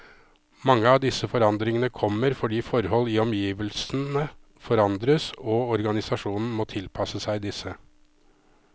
Mange av disse forandringene kommer fordi forhold i omgivelsene forandres, og organisasjonen må tilpasse seg disse.